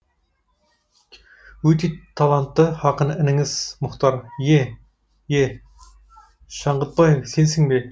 өте талантты ақын ініңіз мұхтар е е шаңғытбаев сенсің бе